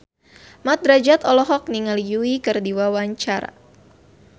Mat Drajat olohok ningali Yui keur diwawancara